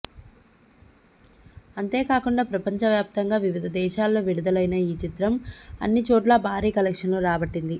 అంతే కాకుండా ప్రపంచవ్యాప్తంగా వివిధ దేశాల్లో విడుదలైన ఈ చిత్రం అన్ని చోట్లా భారీ కలెక్షన్స్ రాబట్టింది